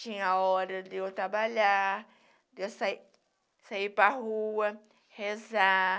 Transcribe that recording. Tinha hora de eu trabalhar, de eu sair sair para a rua, rezar.